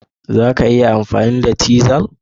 Za ka iya amfani da cisel?